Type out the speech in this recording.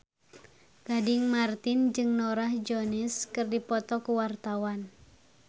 Gading Marten jeung Norah Jones keur dipoto ku wartawan